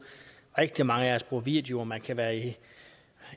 rigtig mange af os bruger video man kan være i